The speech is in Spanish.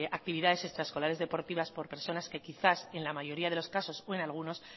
actividades extraescolares deportivas por personas que quizás en la mayoría de los casos o en algunos